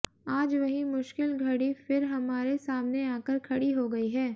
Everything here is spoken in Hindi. आज वही मुश्किल घड़ी फिर हमारे सामने आकर खड़ी हो गई है